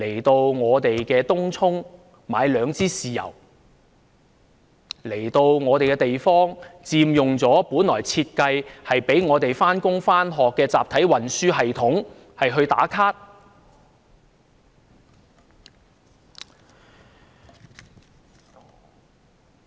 他們前往東涌購買兩支豉油，佔用了本來為香港人上班、上學而設計的集體運輸系統到處"打卡"。